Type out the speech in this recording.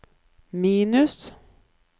minus